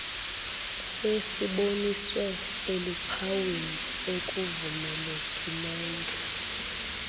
kwesiboniswe eluphawini ekuvumelekileyo